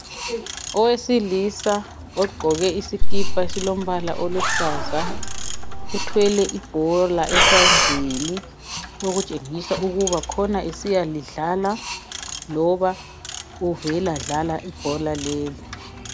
Owesilisa ogqoke isikipa esilombala oluhlaza uthwele ibhola esandleni okutshengisa ukuba khona esiyalidlala loba uvela dlala ibhola leli.